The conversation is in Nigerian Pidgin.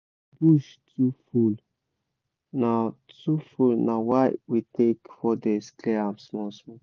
bush too full na too full na why we take four days clear am small small